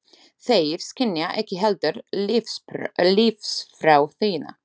Þeir skynja ekki heldur lífsþrá þína.